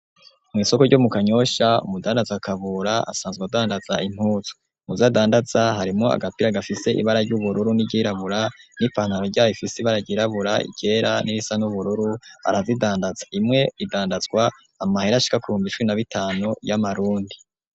mu isoko ryo mu kanyoshya umudandatza akabura asanzwe adandatza intutsu muzadandatsa harimo agapira gafise ibara ry'ubururu n'iryirabura n'ipantaro rya ifisi baragirabura igera n'irisa n'ubururu arazidandatsa imwe idandatswa amahere ashika kuhumba icwii na b'itanu y'amarundi